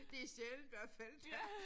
Det sjældent hvert fald der